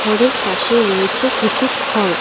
ওপরে পাশে রয়েছে কিছু খড়।